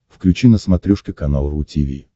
включи на смотрешке канал ру ти ви